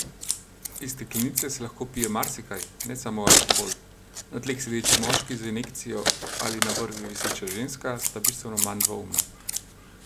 Iz steklenice se lahko pije marsikaj, ne samo alkohol, na tleh sedeči moški z injekcijo ali na vrvi viseča ženska sta bistveno manj dvoumna.